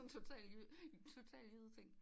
En total jyde en total jyde ting